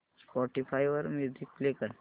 Spotify वर music play कर